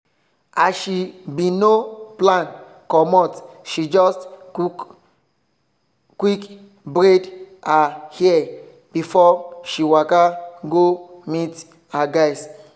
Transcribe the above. as she bin no plan comot she just quick braid her hair before she waka go meet her guys.